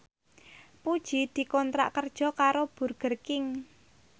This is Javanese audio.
Puji dikontrak kerja karo Burger King